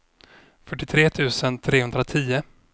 fyrtiotre tusen trehundratio